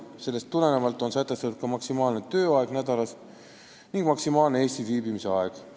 Sellest tulenevalt on sätestatud maksimaalne tööaeg nädalas ning maksimaalne Eestis viibimise aeg.